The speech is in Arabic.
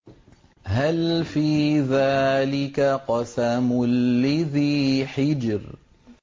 هَلْ فِي ذَٰلِكَ قَسَمٌ لِّذِي حِجْرٍ